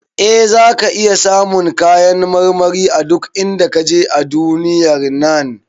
Eh, zaka iya samun kayan marmari a duk inda kaje a duniyar nan.